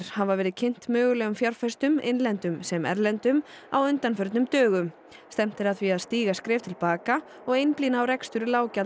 hafa verið kynnt mögulegum fjárfestum innlendum sem erlendum á undanförnum dögum stefnt er að því að stíga skref til baka og einblína á rekstur